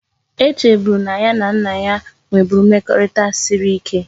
E cheburu na ya na nna ya nweburu mmekorita siri ike